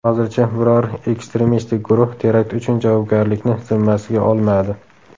Hozircha biror ekstremistik guruh terakt uchun javobgarlikni zimmasiga olmadi.